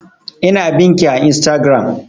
Ina bin ki a instagram